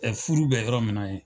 Ɛɛ furu bɛ yɔrɔ min na yen.